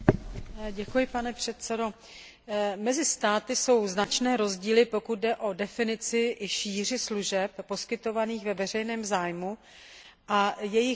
Mezi státy jsou značné rozdíly, pokud jde o definici i šíři služeb poskytovaných ve veřejném zájmu a jejich výjimek z pravidel vnitřního trhu.